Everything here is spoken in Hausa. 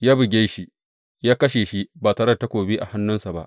Ya buge shi, ya kashe shi ba tare da takobi a hannunsa ba.